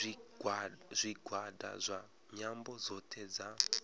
zwigwada zwa nyambo dzothe dza